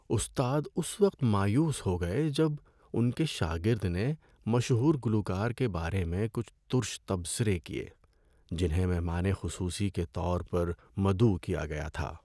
استاد اس وقت مایوس ہو گئے جب ان کے شاگرد نے مشہور گلوکار کے بارے میں کچھ تُرش تبصرے کیے جنہیں مہمان خصوصی کے طور پر مدعو کیا گیا تھا۔